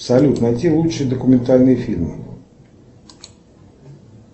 салют найти лучшие документальные фильмы